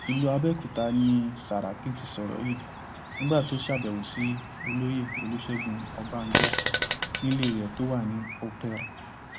ìlú abẹòkúta ni sàràkí ti sọrọ yìí nígbà tó ṣàbẹwò sí olóyè olùṣègùn ọbànjọ nílé rẹ tó wà ní operl